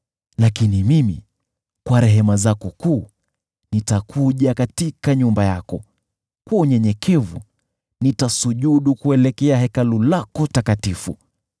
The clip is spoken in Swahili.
Lakini mimi, kwa rehema zako kuu, nitakuja katika nyumba yako, kwa unyenyekevu, nitasujudu kuelekea Hekalu lako takatifu.